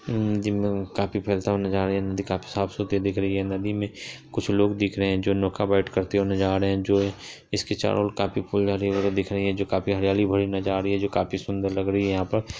उम्म नदी काफी फैलता हुआ नजर आ रहा है| नदी काफी साफ-सुथरी दिख रही है| नदी में कुछ लोग दिख रहे हैं जो नौका पर बैठ कर जा रहे हैं जो इसके चारों ओर काफी फूल डाले हुए दिख रहे हैं जो काफी हरियाली भरी नजर आ रही हैं जो काफी सुंदर लग रही है यहाँ पर।